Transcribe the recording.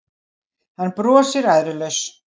Hann brosir æðrulaus.